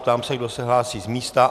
Ptám se, kdo se hlásí z místa.